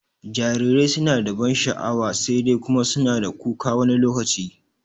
jarirai suna da ban sha'wa, sai dai Kuma suna da kuka wani lokaci